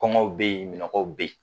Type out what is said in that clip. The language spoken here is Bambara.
Kɔngɔw be yen, minɔgɔw be yen.